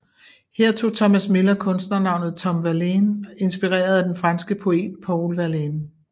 Her tog Thomas Miller kunstnernavnet Tom Verlaine inspereret af den franske poet Paul Verlaine